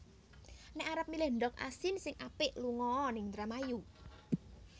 Nek arep milih ndog asin sing apik lungo o ning Indramayu